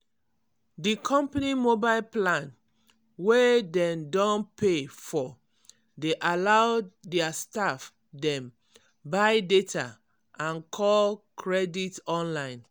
di company mobile plan wey dem don pay for dey allow their staff dem buy data and call credit online.